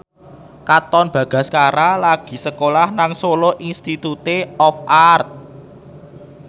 Katon Bagaskara lagi sekolah nang Solo Institute of Art